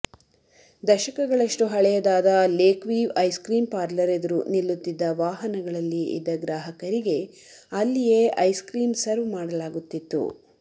ದಶಕಗಳಷ್ಟು ಹಳೆಯದಾದ Lakeview ice cream parlour ಎದುರು ನಿಲ್ಲುತ್ತಿದ್ದ ವಾಹನಗಳಲ್ಲಿ ಇದ್ದ ಗ್ರಾಹಕರಿಗೆ ಅಲ್ಲಿಯೇ ಐಸ್ಕ್ರೀಂ ಸರ್ವ್ ಮಾಡಲಾಗುತ್ತಿತ್ತು